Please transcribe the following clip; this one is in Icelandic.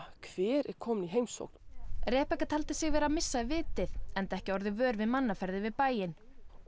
hver er kominn í heimsókn taldi sig vera að missa vitið enda ekki orðið vör við mannaferðir við bæinn og